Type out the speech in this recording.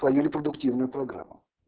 по не репродуктивной программу